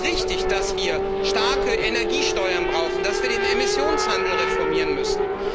Es ist richtig, dass wir starke Energiesteuern brauchen, dass wir den Emissionshandel reformieren müssen.